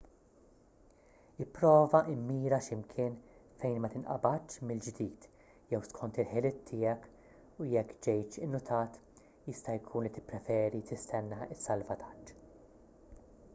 ipprova mmira x'imkien fejn ma tinqabadx mill-ġdid jew skont il-ħiliet tiegħek u jekk ġejtx innutat jista' jkun li tippreferi tistenna s-salvataġġ